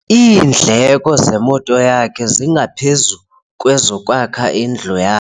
Iindleko zemoto yakhe zingaphezu kwezokwakha indlu ya